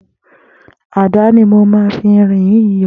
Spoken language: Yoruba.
Àdá ni mó n fi irin yi rọ